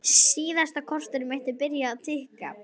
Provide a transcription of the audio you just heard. Síðasta korterið mitt er byrjað að tikka.